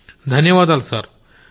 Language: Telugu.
గౌరవ్ ధన్యవాదాలు సర్